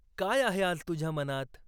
काय आहे आज तुझ्या मनात?